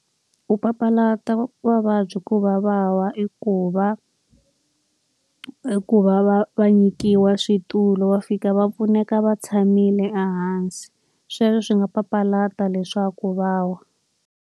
Ku papalata mavabyi ku va va wa i ku va, i ku va va va nyikiwa switulu va fika va pfuneka va tshamile ehansi. Sweswo swi nga papalata leswaku va wa.